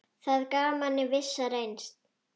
Það gaf manni vissa reisn.